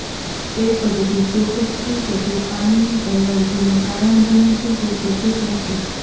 તે પદ્ધતિ ચોક્કસ છે કે જે પાણીની એલર્જીનું કારણ બને છે તે ચોક્કસ નથી